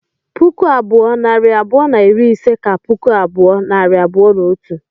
puku abụọ, nari abụọ na iri ise ka puku abụọ, nari abụọ na otu